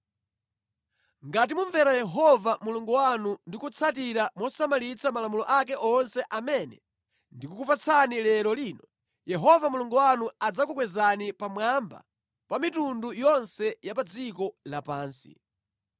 Ngati mumvera Yehova Mulungu wanu ndi kutsatira mosamalitsa malamulo ake onse amene ndikukupatsani lero lino, Yehova Mulungu wanu adzakukwezani pamwamba pa mitundu yonse ya pa dziko lapansi.